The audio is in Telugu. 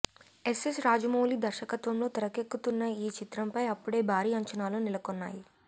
ఎస్ ఎస్ రాజమౌళి దర్శకత్వంలో తెరకెక్కుతున్న ఈ చిత్రం పై అప్పుడే భారీ అంచనాలు నెలకొన్నాయి